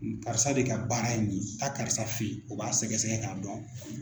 Karisa de ka baara ye nin ye taa karisa fɛ ye o b'a sɛgɛsɛgɛ k'a dɔn.